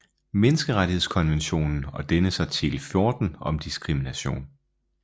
Menneskerettighedskonventionen og dennes artikel 14 om diskrimination